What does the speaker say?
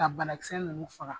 Ka bana kisɛ ninnu faga.